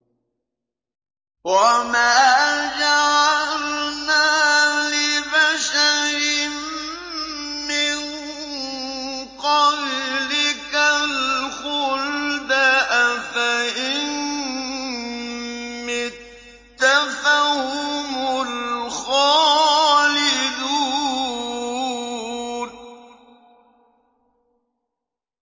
وَمَا جَعَلْنَا لِبَشَرٍ مِّن قَبْلِكَ الْخُلْدَ ۖ أَفَإِن مِّتَّ فَهُمُ الْخَالِدُونَ